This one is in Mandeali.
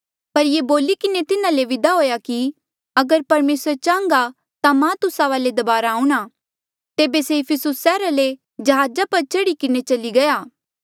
पर ये बोली किन्हें तिन्हा ले विदा हुएया कि अगर परमेसरे चाहंगा ता मां तुस्सा वाले दबारा आऊंणा तेबे से इफिसुस सैहरा ले जहाजा पर चढ़ी किन्हें चली गया